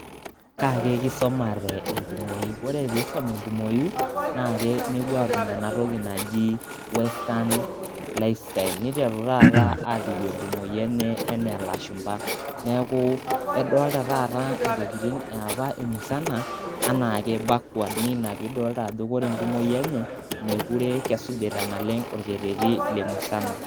kaa ake kisumate enkumoi, ore pee isumi enkumoi naa kepuo aatum ena toki naji western lifestyle, niteru taata aajing enkumoi enye anaa lashumpa, neeku kedooldta taa ntokitin ye apa emusana, anaa kimakua naa ina pee idolta ajo ore enkumoi eenye meekure kesujita naleng orkereti ee musana.